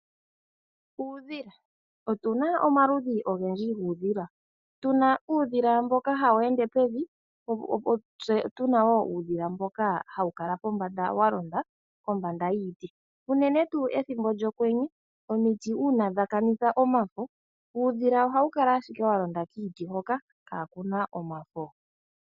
Uudhila, otu na omaludhi ogendji guudhila. Tu na uudhila mboka hawu ende pevi, tse tu na wo uudhila mboka hawu kala pombanda wa londa kombanda yiiti, unene tu ethimbo lyokwenye omiti uuna dha kanitha omafo, uudhila ohawu kala ashike wa londa kiiti hoka kaakuna omafo.